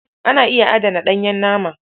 Ana iya adana ɗanyen nama.